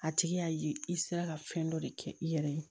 A tigi y'a ye i sera ka fɛn dɔ de kɛ i yɛrɛ ye